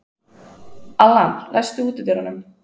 Allan, læstu útidyrunum.